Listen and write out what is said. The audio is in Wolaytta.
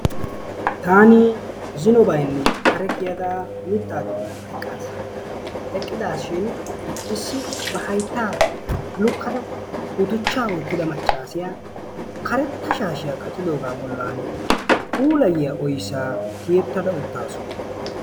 taani zino baynni kare kiyada mittaa doonan eqqas. eqqidaashin issi ba hayttaa lukkada guduchchaa woottida maccaasiyaa karetta shaashiyaa qacidoogaa bollan puulayiyaa oyssaa tiyettada uttaasu.